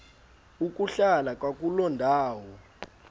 ukuhlala kwakuloo ndawo